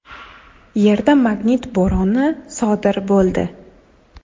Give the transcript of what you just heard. Yerda magnit bo‘roni sodir bo‘ldi.